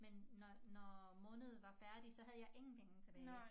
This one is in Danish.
Men når når måned var færdig så havde jeg ingen penge tilbage